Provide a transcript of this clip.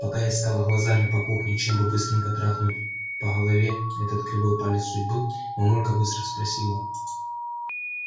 пока я искала глазами по кухне чем бы быстренько трахнуть по голове этот кривой палец судьбы мамулька быстро спросила